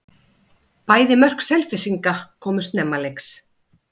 Bæði mörk Selfyssinga komu snemma leiks.